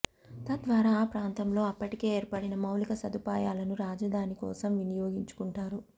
తద్వారా ఆ ప్రాంతంలో అప్పటికే ఏర్పడిన మౌలిక సదుపాయాలను రాజధాని కోసం వినియోగించుకుంటారు